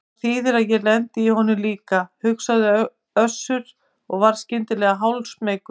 Og það þýðir að ég lendi í honum líka, hugsaði Össur og varð skyndilega hálfsmeykur.